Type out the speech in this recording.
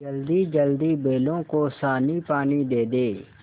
जल्दीजल्दी बैलों को सानीपानी दे दें